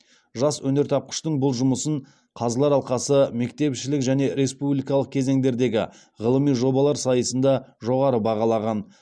жас өнертапқыштың бұл жұмысын қазылар алқасы мектепішілік және республикалық кезеңдердегі ғылыми жобалар сайысында жоғары бағалаған